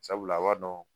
Sabula a b'a dɔn